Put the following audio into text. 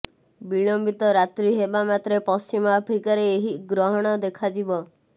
ବିଳମ୍ବିତ ରାତ୍ରି ହେବା ମାତ୍ରେ ପଶ୍ଚିମ ଆଫ୍ରିକାରେ ଏହି ଗ୍ରହଣ ଦେଖାଯିବ